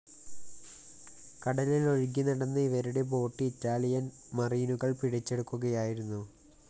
കടലിൽ ഒഴുകി നടന്ന ഇവരുടെ ബോട്ട്‌ ഇറ്റാലിയൻ മറീനുകൾ പിടിച്ചെടുക്കുകയായിരുന്നു